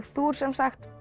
þú ert sem sagt